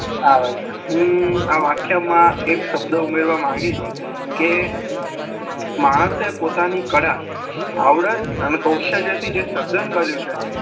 આવે છે આ વ્યાખ્યા માં એક શબ્દ ઉમેરવા માગી કે માણસે પોતાની કળ આવડત અને કૌશલ્ય થી જે સર્જન કર્યું છે